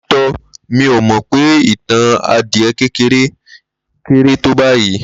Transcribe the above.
Lótìtọ́, mí ò mọ pè ìtàn adìẹ kékeré kéré tó báyìí